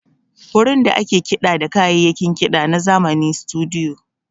Wurin da ake kiɗa da kayayyakin kiɗa na zamani Situdiyo.